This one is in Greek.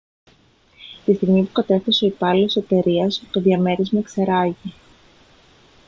τη στιγμή που κατέφθασε ο υπάλληλος της εταιρείας το διαμέρισμα εξερράγη